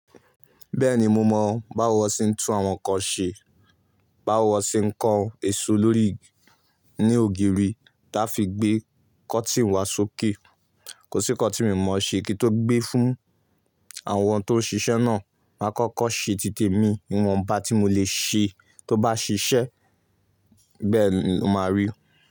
Bẹ́ẹ̀ni, mo mọ báwo wọ́n ṣe ń tún àwọn nǹkan ṣe, báwo wọ́n ṣe ń kan èso lórí ní ògiri láfi gbé kọ́tìnì wá sókè. Kò sí nǹkan tí mi ò mọ̀ ṣe kí tó gbé fún àwọn tó ń ṣiṣẹ́ náà. Máa kọ́kọ́ ṣe títè mi, ìwọ̀nba tí mo lè ṣe tó bá ṣiṣẹ́ bẹ́ẹ̀ ni mo máa rí.